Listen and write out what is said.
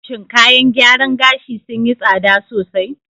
Shin kayan gyaran gashi sun yi tsada sosai?